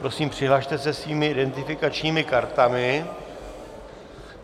Prosím, přihlaste se svými identifikačními kartami.